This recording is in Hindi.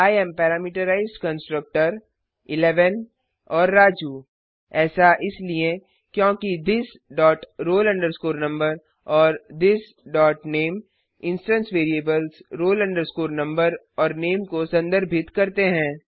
आई एएम पैरामीटराइज्ड कंस्ट्रक्टर 11 और राजू ऐसा इसलिए क्योंकि थिस डॉट roll number और this dot name instance variables roll number और नामे को संदर्भित करते हैं